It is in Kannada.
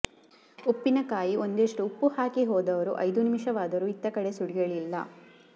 ಉಪ್ಪಿನ ಕಾಯಿ ಒಂದಿಷ್ಟು ಉಪ್ಪು ಹಾಕಿ ಹೋದವರು ಐದು ನಿಮಿಷವಾದರೂ ಇತ್ತ ಕಡೆ ಸುಳಿಯಲಿಲ್ಲ